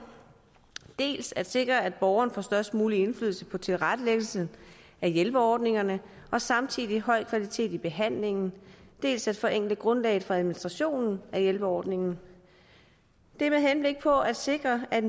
dels at sikre at borgeren får størst mulig indflydelse på tilrettelæggelsen at hjælperordningerne og samtidig høj kvalitet i behandlingen dels at forenkle grundlaget for administrationen af hjælperordningerne det er med henblik på at sikre at